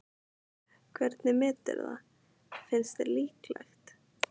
Hvernig meturðu það, finnst þér líklegt?